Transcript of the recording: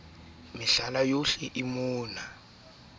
o ne a sa phefumoloha